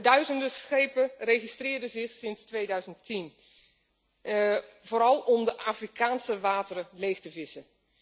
Duizenden schepen registreerden zich sinds 2010, vooral om de Afrikaanse wateren leeg te vissen.